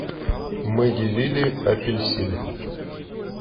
мы делили апельсин